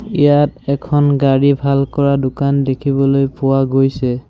ইয়াত এখন গাড়ী ভাল কৰা দোকান দেখিবলৈ পোৱা গৈছে।